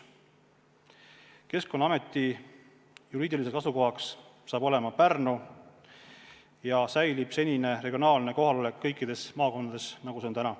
Keskkonnaameti juriidiliseks asukohaks saab olema Pärnu ja säilib senine regionaalne kohalolek kõikides maakondades, nagu see on praegu.